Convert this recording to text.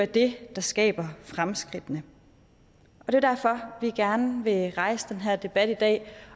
det der skaber fremskridtene det er derfor vi gerne vil rejse den her debat i dag